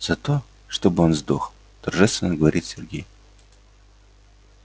за то чтобы он сдох торжественно говорит сергей